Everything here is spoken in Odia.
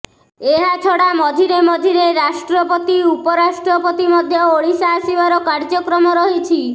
ଏହା ଛଡ଼ା ମଝିରେ ମଝିରେ ରାଷ୍ଟ୍ରପତି ଉପରାଷ୍ଟ୍ରପତି ମଧ୍ୟ ଓଡ଼ିଶା ଆସିିବାର କାର୍ଯ୍ୟକ୍ରମ ରହିଛି